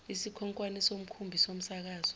isikhonkwane somkhumbi somsakazo